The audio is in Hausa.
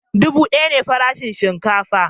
Dubu daya ne farashin shinkafa